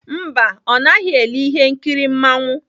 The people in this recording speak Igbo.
Mba, ọ naghị ele ihe nkiri mmanwụ.